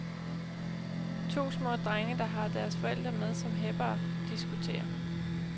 To små drenge, der har deres forældre med som heppere, diskuterer.